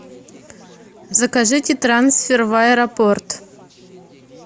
закажите трансфер в аэропорт